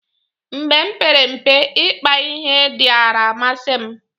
mgbe m mpere mpe, ikpa ihe diara amasi m